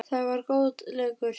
Það var góður leikur.